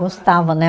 Gostava, né?